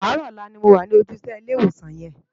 Áàrò òlà ni mó wá lójú isè ni Ilè Iwósán yèn